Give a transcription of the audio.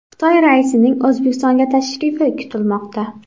Xitoy raisining O‘zbekistonga tashrifi kutilmoqda.